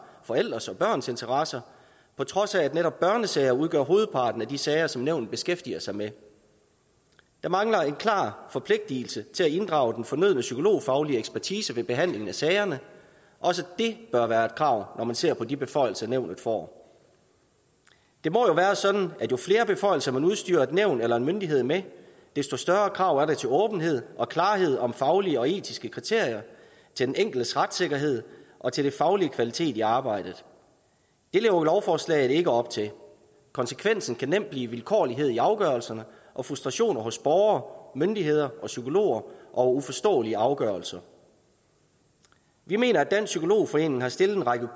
forældres og børns interesser på trods af at netop børnesager udgør hovedparten af de sager som nævnet beskæftiger sig med der mangler en klar forpligtelse til at inddrage den fornødne psykologfaglige ekspertise ved behandlingen af sagerne også det bør være et krav når man ser på de beføjelser nævnet får det må jo være sådan at jo flere beføjelser man udstyrer et nævn eller en myndighed med desto større krav er der til åbenhed og klarhed om faglige og etiske kriterier til den enkeltes retssikkerhed og til den faglige kvalitet i arbejdet det lever lovforslaget ikke op til konsekvensen kan nemt blive vilkårlighed i afgørelserne og frustration hos borgere myndigheder og psykologer og uforståelige afgørelser vi mener at dansk psykolog forening har stillet en række